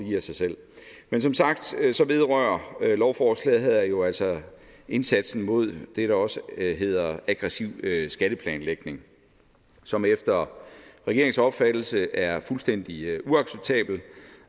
men som sagt vedrører lovforslaget her jo altså indsatsen mod det der også hedder aggressiv skatteplanlægning som efter regeringens opfattelse er fuldstændig uacceptabelt